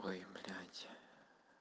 ой блядь